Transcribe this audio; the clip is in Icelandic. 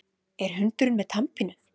Er hundurinn með tannpínu?